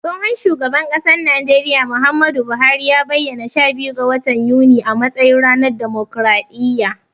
Tsohon shugaban ƙasan najeriya, Muhammadu Buhari ya bayyana sha biyu ga watan yuni a matsayin ranar damokraɗiyya.